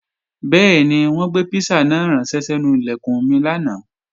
Bẹ́ẹ̀ni, wọ́n gbé písà náà ránṣẹ́ sẹ́nu Ilẹ̀kùn mi lánàá